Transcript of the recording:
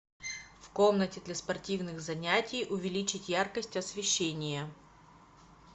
в комнате для спортивных занятий увеличить яркость освещения